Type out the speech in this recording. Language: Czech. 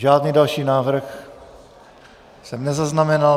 Žádný další návrh jsem nezaznamenal.